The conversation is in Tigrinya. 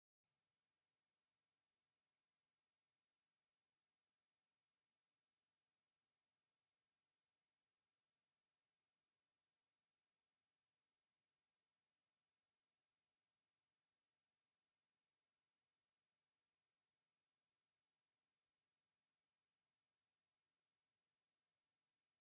ኣብዚ ቀዳማይ መድረኽ ሓድሽ ፕሮጀክት ህንፀት ንርኢ። መሬት ተዃዒቱ ኣብ ታሕተዋይ ክፋል ናይ መሰረት ግራውቲ ተዳልዩ ኣሎ። እዛ መሬት ኣብ ቀረባ እዋን ገዛ፡ ስራሕ ቦታ፡ ወይ ተስፋ ዝግበረላ ነገር ክትከውን እያ ትመስል።